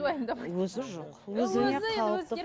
уайымдамайды өзі жоқ